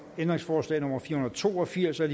ændringsforslag nummer fire hundrede og to og firs af